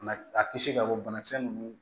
a kisi k'a bɔ banakisɛ ninnu